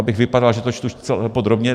Abych vypadal, že to čtu podrobně.